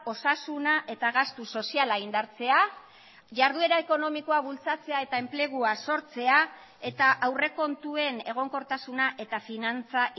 osasuna eta gastu soziala indartzea jarduera ekonomikoa bultzatzea eta enplegua sortzea eta aurrekontuen egonkortasuna eta finantza